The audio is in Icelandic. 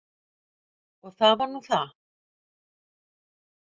Og það var nú það.